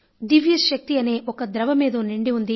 దివ్యశక్తి అనే ఒక ద్రవమేదో నిండి ఉంది